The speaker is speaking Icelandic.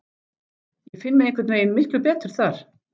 Ég finn mig einhvern veginn miklu betur þar.